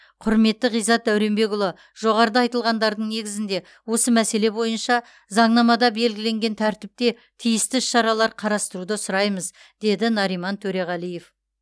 құрметті ғиззат дәуренбекұлы жоғарыда айтылғандардың негізінде осы мәселе бойынша заңнамада белгіленген тәртіпте тиісті іс шаралар қарастыруды сұраймыз деді нариман төреғалиев